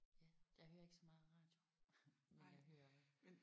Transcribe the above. Ja jeg hører ikke så meget radio men jeg hører